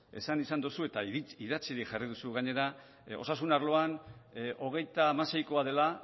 esan izan duzu eta idatzirik jarri duzu gainera osasun arloan hogeita hamaseikoa dela